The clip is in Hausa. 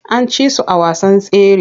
An ci su a wasan tsere.